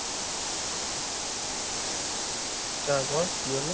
তারপর, কি হল?